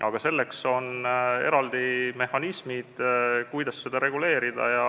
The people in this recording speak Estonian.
Aga on eraldi mehhanismid, kuidas seda reguleerida.